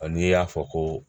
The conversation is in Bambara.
A n'i y'a fɔ ko